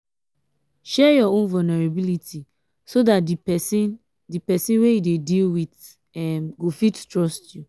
share your own vulnerability so dat di person di person wey you dey deal with um go fit trust you.